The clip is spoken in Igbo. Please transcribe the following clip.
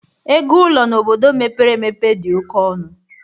Ego ụlọ n'obodo mepere emepe dị oké ọnụ